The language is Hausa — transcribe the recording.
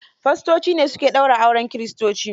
Fastoci ne su ke daura auren kiristoci.